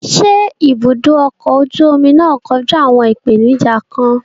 Ṣé ibùdó ọkọ̀ ojú omi náà kojú àwọn ìpèníjà kan?